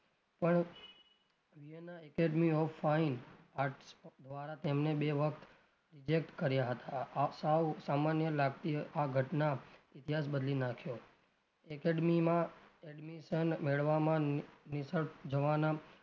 તેમને બે વાર reject કર્યા હતાં આ સાવ સામાન્ય લાગતી આ ઘટના ઈતિહાસ બદલી નાખ્યો academy માં admission મેળવામાં નિષ્ફળ જવાનાં,